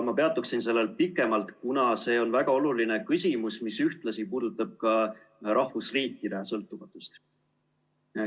Ma peatuksin sellel pikemalt, kuna see on väga oluline küsimus, mis ühtlasi puudutab ka rahvusriikide sõltumatust.